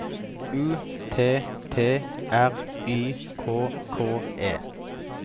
U T T R Y K K E